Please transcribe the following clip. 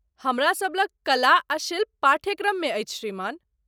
हमरा सभ लग कला आ शिल्प पाठ्यक्रम मे अछि, श्रीमान ।